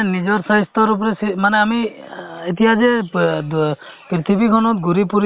যে এজন মানুহে নিজৰ জীৱনত বোলে চা ষাঠি বছৰলৈকে বা চল্লিশ বছৰলৈকে কাম কৰে বোলে